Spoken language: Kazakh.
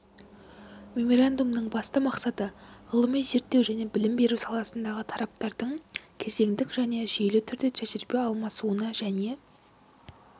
меморандумның басты мақсаты ғылыми-зерттеу және білім беру саласындағы тараптардың кезеңдік және жүйелі түрде тәжірибе алмасуына және